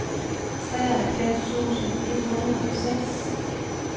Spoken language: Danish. treoghalvfems tusind et hundrede og seks